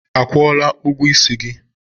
Akwụla ụgwọ isi gị?